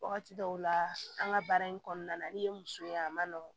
Wagati dɔw la an ka baara in kɔnɔna na n'i ye muso ye a ma nɔgɔn